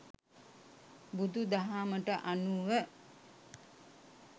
බුදු දහමට අනුව